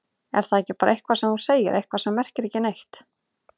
Er það ekki bara eitthvað sem þú segir, eitthvað sem merkir ekki neitt?